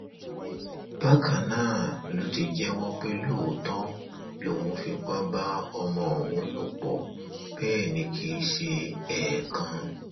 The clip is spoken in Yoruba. bákan náà ló ti jẹwọ pé lóòótọ lòun fipá bá ọmọ ọhún lò pọ bẹẹ ni kì í ṣe ẹẹkan